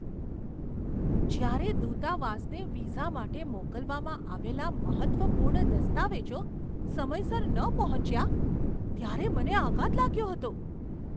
જ્યારે દૂતાવાસને વિઝા માટે મોકલવામાં આવેલા મહત્ત્વપૂર્ણ દસ્તાવેજો સમયસર ન પહોંચ્યા ત્યારે મને આઘાત લાગ્યો હતો.